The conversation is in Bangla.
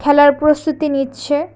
খেলার প্রস্তুতি নিচ্ছে।